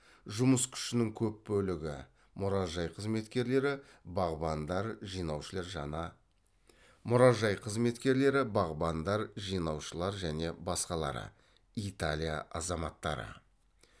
жұмыс күшінің көп бөлігі мұражай қызметкерлері бағбандар жинаушылар және басқалары италия азаматтары